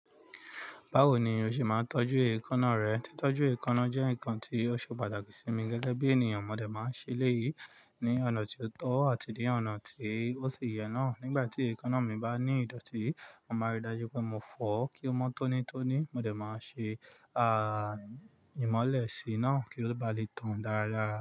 Báwo ni o ṣe máa ń tọ́jú èékánná rẹ? Títọ́jú èékánná jẹ́ nǹkan tí ó ṣe pàtàkì sí mi gẹ́gẹ́ bí ènìyàn. Mo dẹ̀ máa ń ṣe léyìí ní ọ̀nà tí ó tọ́ àti ní ọ̀nà tí ó ṣi ye náà. Nígbà tí èékánná mi bá ní ìdọ̀tí, màá rí i dájú pé mo fọ̀ ọ́ kí ó mọ́ tónítóní. Mo dẹ̀ máa ṣe, à, ìmọ́lẹ̀ sí i náà kí ó ba lè tàn dáradára.